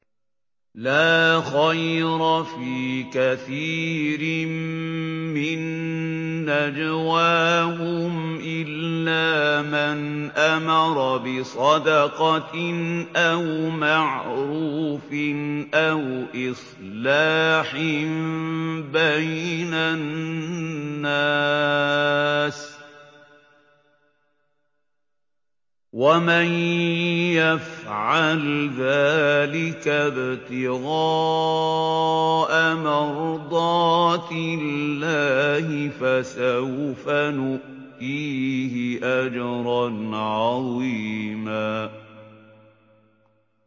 ۞ لَّا خَيْرَ فِي كَثِيرٍ مِّن نَّجْوَاهُمْ إِلَّا مَنْ أَمَرَ بِصَدَقَةٍ أَوْ مَعْرُوفٍ أَوْ إِصْلَاحٍ بَيْنَ النَّاسِ ۚ وَمَن يَفْعَلْ ذَٰلِكَ ابْتِغَاءَ مَرْضَاتِ اللَّهِ فَسَوْفَ نُؤْتِيهِ أَجْرًا عَظِيمًا